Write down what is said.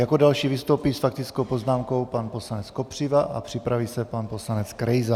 Jako další vystoupí s faktickou poznámkou pan poslanec Kopřiva a připraví se pan poslanec Krejza.